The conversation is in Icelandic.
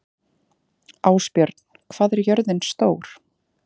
Ásbjörn, hvað er jörðin stór?